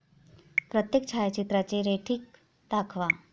प्रत्येक छायाचित्राचे रेटिंग दाखवा